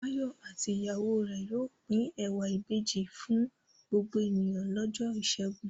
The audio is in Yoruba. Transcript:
Báyọ̀ àti ìyàwó rẹ̀ yóò pín ẹ̀wà ìbejì fún gbogbo ènìyàn lọ́jọ́ ìṣẹ́gun.